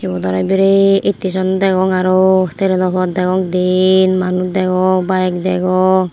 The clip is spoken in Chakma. iyot aro biret isteson degong aro treno pot degong diyen manuj degong bayeg degong.